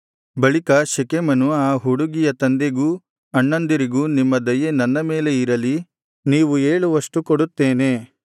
ಬಳಿಕ ಶೆಕೆಮನು ಆ ಹುಡುಗಿಯ ತಂದೆಗೂ ಅಣ್ಣಂದಿರಿಗೂ ನಿಮ್ಮ ದಯೆ ನನ್ನ ಮೇಲೆ ಇರಲಿ ನೀವು ಹೇಳುವಷ್ಟು ಕೊಡುತ್ತೇನೆ